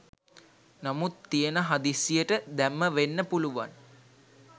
නමුත් තියෙන හදිස්සියට දැම්ම වෙන්න පුළුවන්.